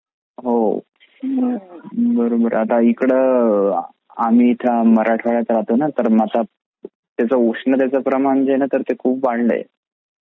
हो बरोबर आहे आता इकडे आता आम्ही इथे मराठवाड्यात राहतो ना तर मग आता उष्णेतचा प्रमाण जे आहे ते तर ना ते खूप वाढला आहे.